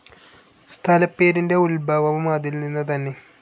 സ്ഥലപ്പേരിൻ്റെ ഉത്ഭവവും അതിൽനിന്നു തന്നെ.